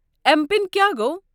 M پِن کیٛا گوٚو؟